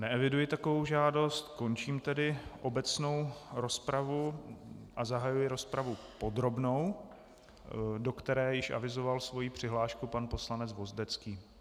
Neeviduji takovou žádost, končím tedy obecnou rozpravu a zahajuji rozpravu podrobnou, do které již avizoval svoji přihlášku pan poslanec Vozdecký.